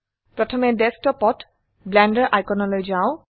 প্ৰথমে ডেস্কটপত ব্লেন্ডাৰ আইকনলৈ যাও